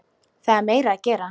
Það er meira að gera.